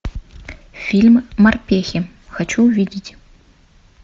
фильм морпехи хочу увидеть